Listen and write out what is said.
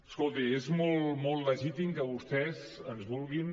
escolti és molt legítim que vostès ens vulguin